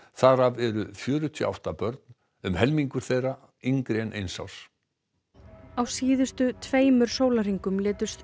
þar af eru fjörutíu og átta börn um helmingur þeirra yngri en eins árs á síðustu tveimur sólarhringum létust